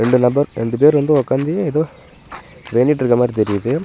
ரெண்டு நபர் ரெண்டு பேர் வந்து உட்காந்து ஏதோ வேண்டிட்டுருக்குற மாரி தெரியுது.